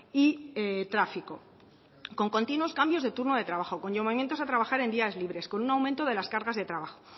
y tráfico con continuos cambios de turno de trabajo con llamamientos a trabajar en días libres con un aumento de las cargas de trabajo